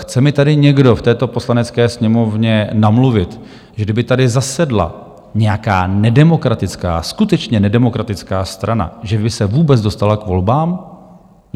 Chce mi tady někdo v této Poslanecké sněmovně namluvit, že kdyby tady zasedla nějaká nedemokratická, skutečně nedemokratická strana, že by se vůbec dostala k volbám?